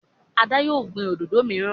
Ada yíò gbin òdodo miran.